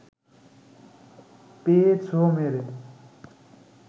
পেয়ে ছোঁ মেরে